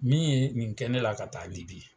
Min ye nin kɛ ne la ka taa Libi